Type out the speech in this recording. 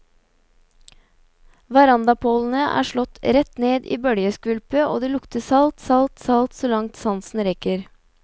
Verandapålene er slått rett ned i bølgeskvulpet, og det lukter salt, salt, salt så langt sansen rekker.